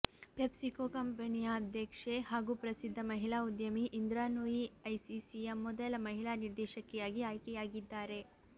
PepsiCo ಕಂಪನಿಯ ಅಧ್ಯಕ್ಷೆ ಹಾಗೂ ಪ್ರಸಿದ್ಧ ಮಹಿಳಾ ಉದ್ಯಮಿ ಇಂದ್ರಾ ನೂಯಿ ಐಸಿಸಿಯ ಮೊದಲ ಮಹಿಳಾ ನಿರ್ದೇಶಕಿಯಾಗಿ ಆಯ್ಕೆಯಾಗಿದ್ದಾರೆ